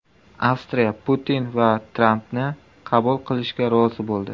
Avstriya Putin va Trampni qabul qilishga rozi bo‘ldi.